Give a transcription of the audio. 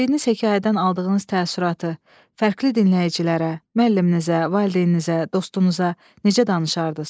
Öyrəndiyiniz hekayədən aldığınız təəssüratı fərqli dinləyicilərə, müəlliminizə, valideyninizə, dostunuza necə danışardınız?